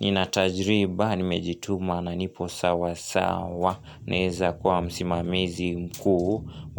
nina tajriba nimejituma na nipo sawasawa naeza kwa msimamizi mkuu.